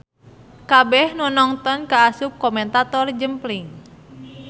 Kabeh nu nongton kaasup komentator jempling.